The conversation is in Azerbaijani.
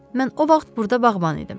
Mən o vaxt burda bağban idim.